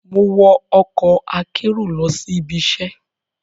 Mo wo ọkọ akero lọ si ibiṣẹ